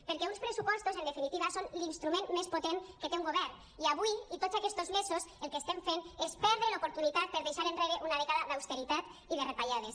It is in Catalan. perquè uns pressupostos en definitiva són l’instrument més potent que té un govern i avui i tots aquestos mesos el que estem fent és perdre l’oportunitat per deixar enrere una dècada d’austeritat i de retallades